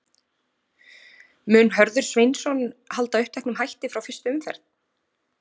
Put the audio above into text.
Mun Hörður Sveinsson halda uppteknum hætti frá fyrstu umferð?